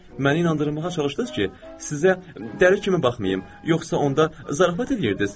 Məni inandırmağa çalışdınız ki, sizə dəli kimi baxmayım, yoxsa onda zarafat eləyirdiniz?